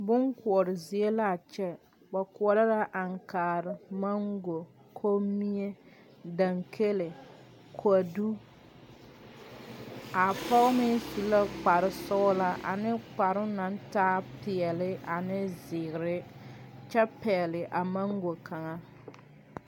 Bon koɔrezie la a kyɛ. Ba koɔro la aŋkaare, mango, kombie, dankele, kodu. A poge meŋ su la kpar sɔglaa ane kparo na taa piɛli ane ziire kyɛ pɛgli a mango kanga.